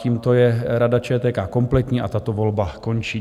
Tímto je Rada ČTK kompletní a tato volba končí.